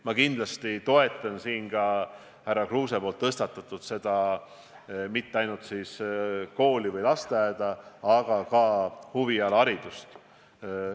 Ma kindlasti toetan siin härra Kruuse tõstatatud teemat, et piirduda ei tuleks mitte ainult koolide või lasteaedadega, vaid kaasata ka huviringid.